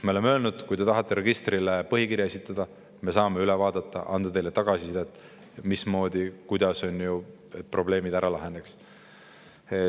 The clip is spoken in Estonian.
Me oleme öelnud: "Kui te tahate registrile põhikirja esitada, siis me saame selle üle vaadata ja anda teile tagasisidet, mismoodi probleemid laheneksid.